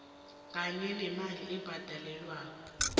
kanye nemali ebhadelwako